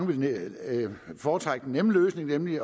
vil foretrække den nemme løsning nemlig